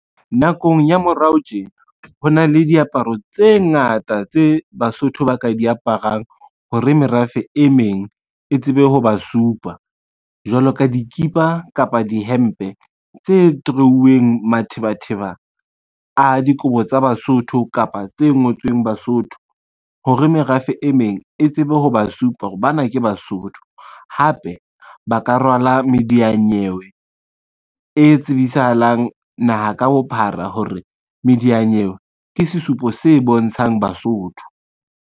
Nakong ya morao tje, ho na le diaparo tse ngata tse Basotho ba ka di aparang hore merafe e meng e tsebe ho ba supa. Jwalo ka dikipa kapa dihempe tse draw-uweng mathebatheba a dikobo tsa Basotho kapa tse ngotsweng Basotho, hore merafe e meng e tsebe ho ba supa hore ba na ke Basotho. Hape ba ka rwala mediyanyewe e tsibisahalang naha ka bophara hore mediyanyewe ke sesupo se bontshang Basotho.